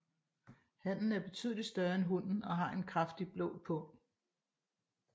Hannen er betydeligt større end hunnen og har en kraftigt blå pung